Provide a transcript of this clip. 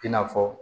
I n'a fɔ